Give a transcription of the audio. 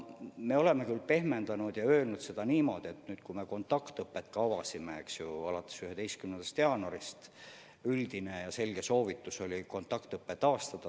Me oleme küll suhtumist pehmendanud ja öelnud, et üldine ja selge soovitus oli kontaktõpe 11. jaanuarist taastada.